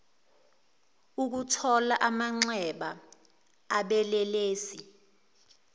ukuthoba amanxeba obelelesi